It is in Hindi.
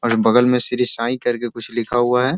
और बगल में श्री साई करके कुछ लिखा हैं।